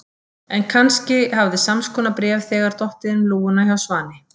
En kannski hafði sams konar bréf þegar dottið inn um lúguna hjá Svani.